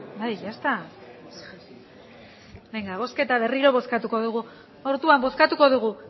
bai ya está benga bozketa berriro bozkatuko dugu orduan bozkatuko dugu